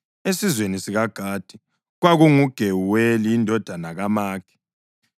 esizweni sikaGadi, kwakunguGewuweli indodana kaMakhi.